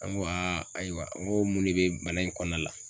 An ko aa ayiwa n ko mun de be bana in kɔnɔna la